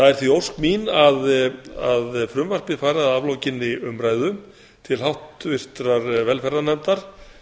er því ósk mín að frumvarpið fari að aflokinni umræðu til háttvirtrar velferðarnefndar